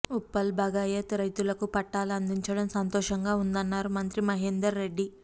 ఉప్పల్ భగాయత్ రైతులకు పట్టాలు అందించటం సంతోషంగా ఉందన్నారు మంత్రి మహేందర్ రెడ్డి